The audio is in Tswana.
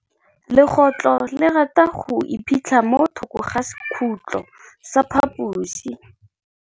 Legôtlô le rata go iphitlha mo thokô ga sekhutlo sa phaposi.